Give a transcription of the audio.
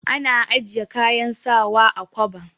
Ana ajiye kayan sawa a kwaba.